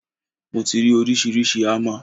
Mo ti rí oríṣiríṣi ámà.